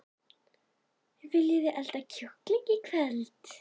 Viljiði elda kjúkling í kvöld?